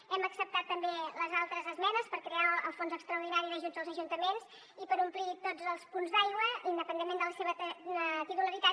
hem acceptat també les altres esmenes per crear el fons extraordinari d’ajuts als ajuntaments i per omplir tots els punts d’aigua independentment de la seva titularitat